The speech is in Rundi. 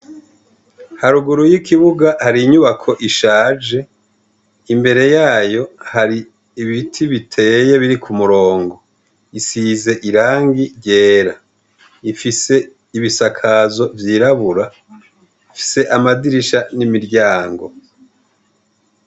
Haruguru y' ikibuga hari inyubako ishaje, imbere yayo hari ibiti biteye biri ku murongo isize irangi ryera ifise ibisakazo vyirabura ifise amadirisha n' imiryango.